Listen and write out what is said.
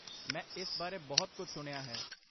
ਮੈਂ ਇਸ ਬਾਰੇ ਬਹੁਤ ਕੁਝ ਸੁਣਿਆ ਹੈ।